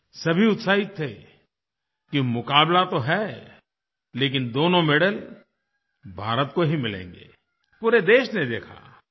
सभी उत्साहित थे कि मुकाबला तो है लेकिन दोनों मेडल भारत को ही मिलेंगे पूरे देश ने देखा